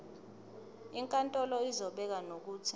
inkantolo izobeka nokuthi